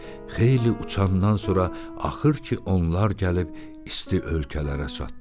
Xeyli uçandan sonra axır ki, onlar gəlib isti ölkələrə çatdılar.